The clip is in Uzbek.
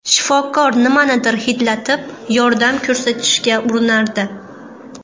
Shifokor nimanidir hidlatib, yordam ko‘rsatishga urinardi.